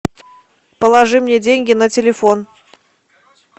положи мне деньги на телефон